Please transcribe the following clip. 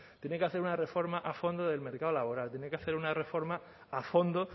tiene que hacer una reforma a fondo del mercado laboral tiene que hacer una reforma a fondo